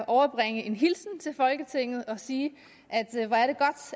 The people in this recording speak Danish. overbringe en hilsen til folketinget og sige at det